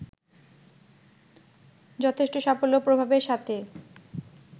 যথেষ্ট সাফল্য ও প্রভাবের সাথে